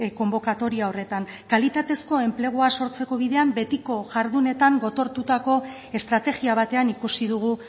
konbokatoria horretan kalitatezko enplegua sortzeko bidean betiko jardunetan gotortutako estrategia batean ikusi dugu